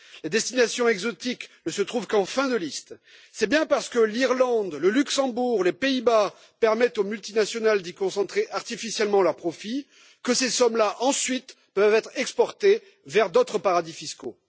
Les destinations exotiques ne se trouvent qu'en fin de liste c'est bien parce que l'Irlande, le Luxembourg ou les Pays Bas permettent aux multinationales d'y concentrer artificiellement leurs profits que ces sommes là, ensuite, peuvent être exportées vers d'autres paradis fiscaux.